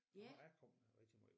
Jeg er kommet her rigtig måj